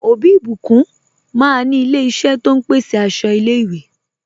Ọbí Ìbíkún máa ní ilẹ̀ ìṣẹ̀ tó n pèsè àṣọ ilẹ̀-ìwé.